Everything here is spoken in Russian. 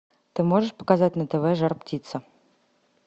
ты можешь показать на тв жар птица